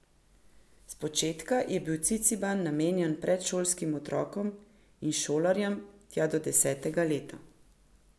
Spočetka je bil Ciciban namenjen predšolskim otrokom in šolarjem tja do desetega leta.